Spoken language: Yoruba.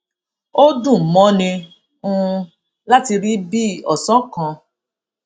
ó dùn mọni um láti rí bí òsán kan